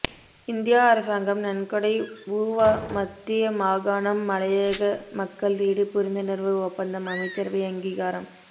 India அரசாங்கம் நன்கொடை ஊவா மத்திய மாகாணம் மலையக மக்கள் வீடு புரிந்துணர்வு ஒப்பந்தம் அமைச்சரவை அங்கீகாரம்